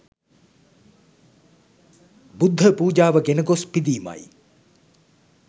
බුද්ධ පූජාව ගෙන ගොස් පිදීමයි.